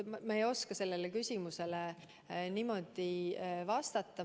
Ma ei oska sellele küsimusele praegu vastata.